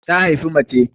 Ta haifi mace